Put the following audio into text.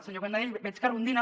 senyor canadell veig que rondina